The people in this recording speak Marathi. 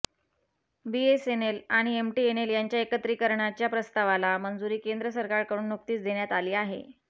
बीएसएनएल आणि एमटीएनएल यांच्या एकत्रिकरण्याच्या प्रस्तावाला मंजुरी केंद्र सराकारकडून नुकतीच देण्यात आली आहे